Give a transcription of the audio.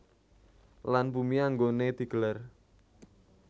Lan bumi anggoné di gelar